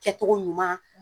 Kɛcogo ɲuman